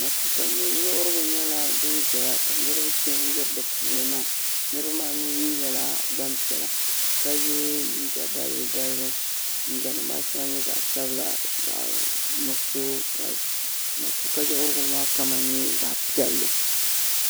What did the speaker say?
Matuuka yiɣirigu nyɛla dini zɛya ka niriba chɛn yiri di puuni na niriba maa mi nyɛla gbaŋ piɛlla ka ye liiga balibu balibu liiga nima maa shɛŋa nyɛ zaɣi sabila zaɣi nuɣiso ka matuuka yiɣirigu maa kama nyɛ zaɣi piɛlli.